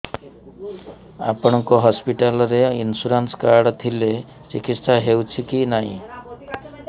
ଆପଣଙ୍କ ହସ୍ପିଟାଲ ରେ insurance card ଥିଲେ ଚିକିତ୍ସା ହେଉଛି କି ନାଇଁ